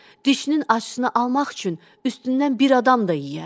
Dişinin acısını almaq üçün üstündən bir adam da yeyərdi.